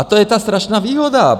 A to je ta strašná výhoda.